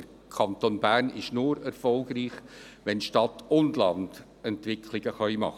Der Kanton Bern ist nur erfolgreich, wenn sich Stadt und Land entwickeln können.